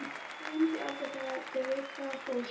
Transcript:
Ég gleymi því aldrei, þegar Devika fórst.